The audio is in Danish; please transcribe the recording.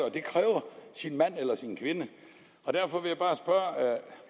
og det kræver sin mand eller sin kvinde derfor vil